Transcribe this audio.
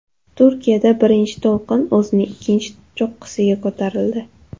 Turkiyada birinchi to‘lqin o‘zining ikkinchi cho‘qqisiga ko‘tarildi.